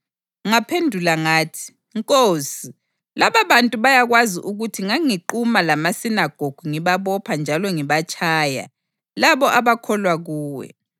Ngaphendula ngathi, ‘Nkosi, lababantu bayakwazi ukuthi nganginquma lamasinagogu ngibabopha njalo ngibatshaya labo abakholwa kuwe.